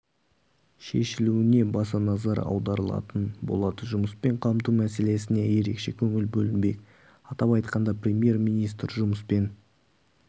шешілуіне баса назар аударылатын болады жұмыспен қамту мәселесіне ерекше көңіл бөлінбек атап айтқанда премьер-министр жұмыспен